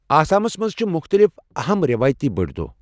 آسامس منٛز چھِ مختلف اَہم رٮ۪وٲیتی بٔڑۍ دۄہہ۔